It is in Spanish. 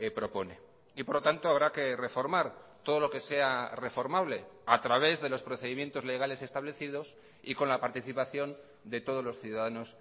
propone y por lo tanto habrá que reformar todo lo que sea reformable a través de los procedimientos legales establecidos y con la participación de todos los ciudadanos